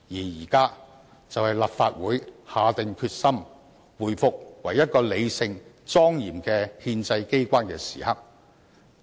現在就是立法會下定決心，回復為一個理性、莊嚴的憲制機關的時刻。